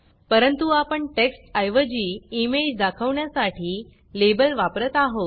परंतु आपण टेक्स्ट ऐवजी इमेज दाखवण्यासाठी लेबल वापरत आहोत